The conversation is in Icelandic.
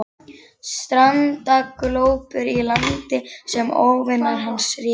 Strandaglópur í landi sem óvinir hans réðu.